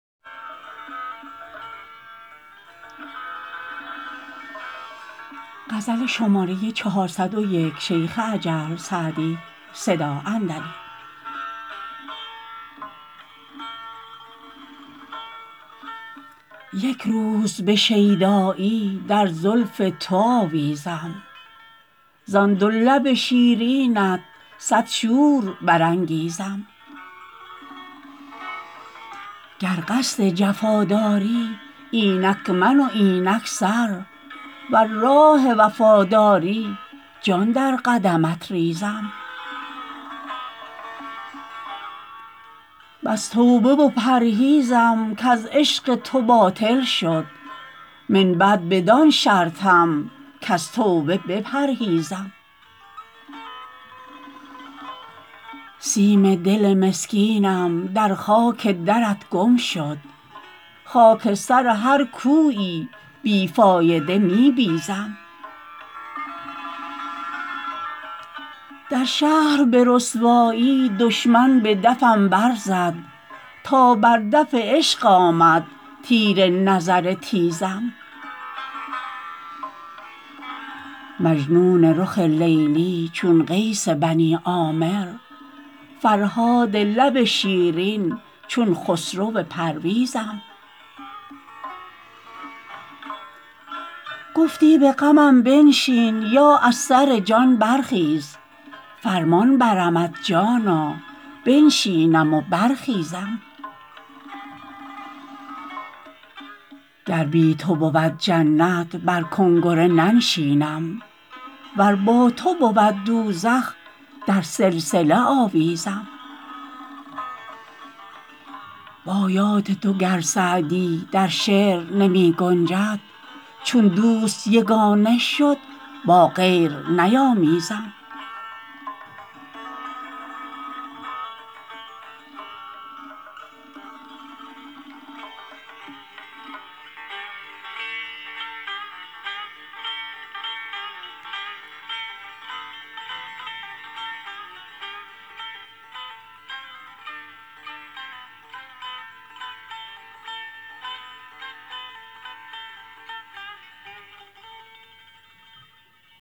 یک روز به شیدایی در زلف تو آویزم زان دو لب شیرینت صد شور برانگیزم گر قصد جفا داری اینک من و اینک سر ور راه وفا داری جان در قدمت ریزم بس توبه و پرهیزم کز عشق تو باطل شد من بعد بدان شرطم کز توبه بپرهیزم سیم دل مسکینم در خاک درت گم شد خاک سر هر کویی بی فایده می بیزم در شهر به رسوایی دشمن به دفم برزد تا بر دف عشق آمد تیر نظر تیزم مجنون رخ لیلی چون قیس بنی عامر فرهاد لب شیرین چون خسرو پرویزم گفتی به غمم بنشین یا از سر جان برخیز فرمان برمت جانا بنشینم و برخیزم گر بی تو بود جنت بر کنگره ننشینم ور با تو بود دوزخ در سلسله آویزم با یاد تو گر سعدی در شعر نمی گنجد چون دوست یگانه شد با غیر نیامیزم